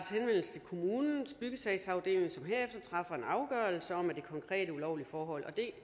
til kommunens byggesagsafdeling som herefter træffer en afgørelse om det konkrete ulovlige forhold det